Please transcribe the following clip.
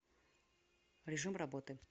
режим работы